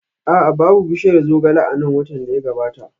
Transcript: A'a, babu bishiyar zogale a nan watan da ya gabata